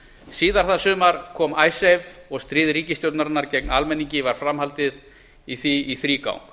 síðar það sumar kom icesave og stríð ríkisstjórnarinnar gegn almenningi var fram haldið í því í þrígang